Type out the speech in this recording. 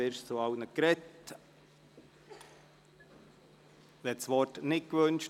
Wyrsch hat bereits zu allen ICT-Geschäften gesprochen.